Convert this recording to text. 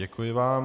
Děkuji vám.